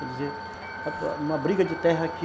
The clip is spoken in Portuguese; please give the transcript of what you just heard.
Quer dizer, uma briga de terra aqui...